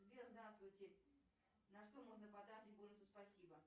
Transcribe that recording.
сбер здравствуйте на что можно потратить бонусы спасибо